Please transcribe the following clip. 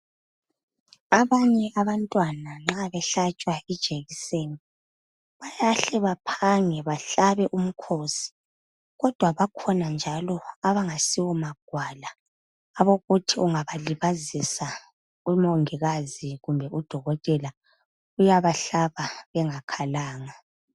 Abanye abantwana nxa behlatshwa ijekiseni bayahle baphange behlabe umkhosi kodwa bakhona njalo abangasiwo magwala ukuthi ungabalibazisa umongikazi kumbe udokotela uyabahlaba bengakhalanga.